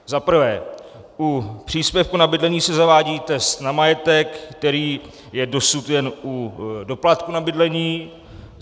Za prvé, u příspěvku na bydlení se zavádí test na majetek, který je dosud jen u doplatku na bydlení.